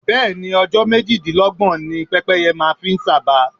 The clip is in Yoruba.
Bẹ́ẹ̀ ni, ọjọ́ méjìdínlọ́gbọ̀n ni pẹ́pẹ́ye fi ń sàba.